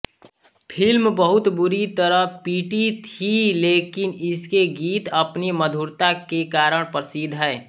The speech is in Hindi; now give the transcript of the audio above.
फिल्म बहुत बुरी तरह पिटी थी लेकिन इसके गीत अपनी मधुरता के कारण प्रसिद्ध हैं